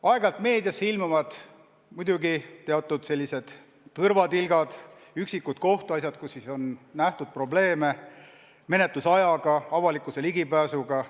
Aeg-ajalt ilmuvad meediasse muidugi teatud tõrvatilgad, üksikud kohtuasjad, mille puhul on nähtud probleeme menetluse ajaga või avalikkuse ligipääsuga.